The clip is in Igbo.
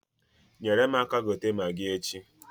Nyere m aka gote magi echi.